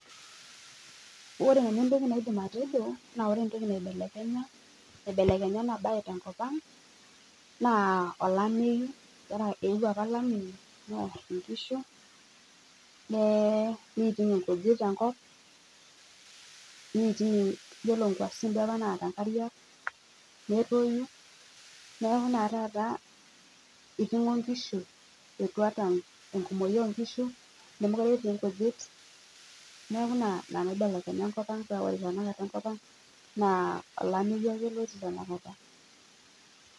Ore entoki naidim ajo naa ore entoki neibelekenye ena bae te nkop ang naa olameyu. Eeuo apa olameyu near nkishu neiting nkujit tenkop, neiting yiolo nkuasin duo apa naata nkarika netoyu neaku naa taata eitingo nkishu etuata ekumoki oonkishu. Nemeekure etii nkijit. Niaku ina neibelekenye enkop ang paa ore tanakata enkop ang naa olameyu ake otii tanakat